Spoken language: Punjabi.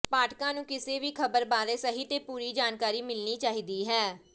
ਪਾਠਕਾਂ ਨੂੰ ਕਿਸੇ ਵੀ ਖ਼ਬਰ ਬਾਰੇ ਸਹੀ ਤੇ ਪੂਰੀ ਜਾਣਕਾਰੀ ਮਿਲਣੀ ਚਾਹੀਦਾ ਹੈ